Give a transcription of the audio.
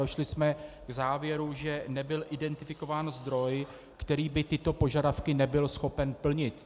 Došli jsme k závěru, že nebyl identifikován zdroj, který by tyto požadavky nebyl schopen plnit.